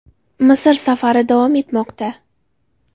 Misr safari davom etmoqda.